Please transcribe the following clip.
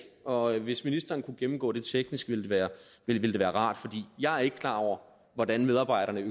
og hvis ministeren kunne gennemgå det teknisk ville det være rart for jeg er ikke klar over hvordan medarbejderne er